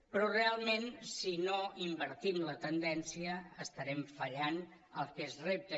però realment si no invertim la tendència estarem fallant a aquest repte